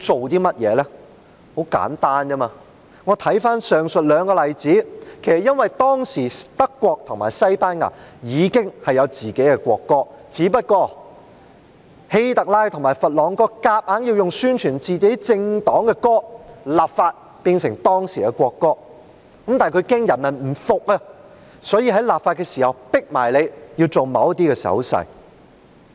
原因很簡單，從上述兩個例子可見，這其實是因為當時德國和西班牙已有自己的國歌，只是希特拉和佛朗哥強行透過立法，要以宣傳自己政黨的歌曲變成當時的國歌，但他們怕人民不服，所以在立法的同時迫人民展示某些手勢。